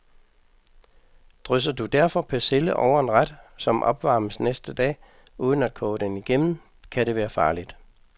Drysser du derfor persille over en ret, som opvarmes næste dag, uden at koge den igennem, kan det være farligt.